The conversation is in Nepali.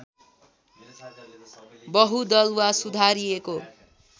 बहुदल वा सुधारिएको